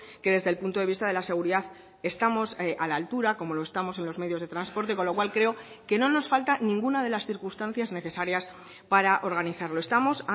que desde el punto de vista de la seguridad estamos a la altura como lo estamos en los medios de transporte con lo cual creo que no nos falta ninguna de las circunstancias necesarias para organizarlo estamos